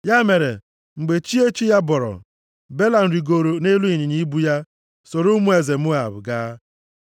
Ya mere, mgbe chi echi ya bọrọ, Belam rigooro nʼelu ịnyịnya ibu ya soro ụmụ eze Moab gaa.